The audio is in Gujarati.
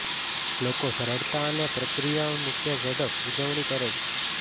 લોકો સરળતા અને પ્રક્રિયા મૂક્યા ઝડપ ઉજવણી કરે છે